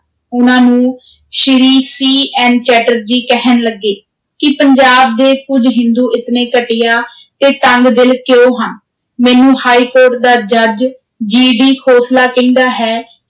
ਉਨ੍ਹਾਂ ਨੂੰ ਸ੍ਰੀ CN ਚੈਟਰਜੀ ਕਹਿਣ ਲੱਗੇ ਕਿ ਪੰਜਾਬ ਦੇ ਕੁਝ ਹਿੰਦੂ ਇਤਨੇ ਘਟੀਆ ਤੇ ਤੰਗ-ਦਿਲ ਕਿਉਂ ਹਨ, ਮੈਨੂੰ ਹਾਈਕੋਰਟ ਦਾ ਜੱਜ GD ਖੋਸਲਾ ਕਹਿੰਦਾ ਹੈ